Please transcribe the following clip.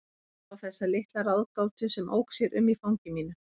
Ég horfði á þessa litla ráðgátu sem ók sér um í fangi mínu.